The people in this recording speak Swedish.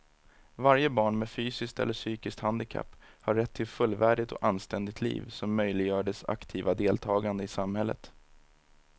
Varje barn med fysiskt eller psykiskt handikapp har rätt till ett fullvärdigt och anständigt liv som möjliggör dess aktiva deltagande i samhället.